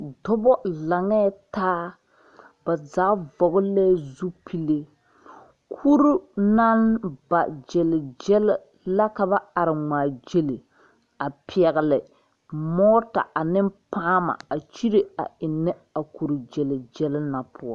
Dɔbɔ laŋeetaa ba zaa vɔgle la zupile kuri naŋ ba gyil gyil la ka ba are ngmaagyile a pɛgle mɔɔta ane pããma a kyire a eŋnɛ a kuri gyil gyil na poɔ.